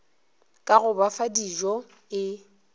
ka go ba fadijo e